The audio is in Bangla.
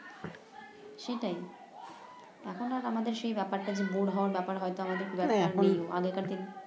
সেটাই এখন আর আমাদের সেই ব্যাপারটা কিন্তু হবার ব্যাপারটা হয়তো খুব একটা নেই আগেরকার